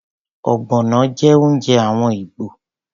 Ogbono jẹ́ oúnjẹ àwọn Igbo.